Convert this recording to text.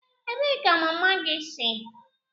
Ebee ka mama gị si?